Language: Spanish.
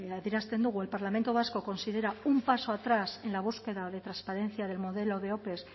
adierazten dugu el parlamento vasco considera un paso atrás en la búsqueda de transparencia del modelo de ope